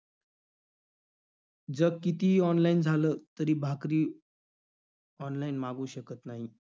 जग कितीही online झालं, तरी भाकरी online मागवू शकत नाही.